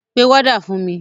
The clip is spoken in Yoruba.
Pe wọ́dà fún mi!